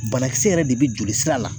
Banakisɛ yɛrɛ de bɛ jolisira la